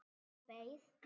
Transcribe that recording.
Og beið.